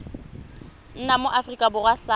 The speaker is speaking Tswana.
nna mo aforika borwa sa